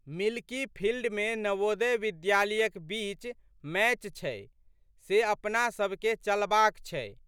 Milky फिल्डमे नवोदय विद्यालयक बीच मैच छै से अपनोसबके चलबाक छै।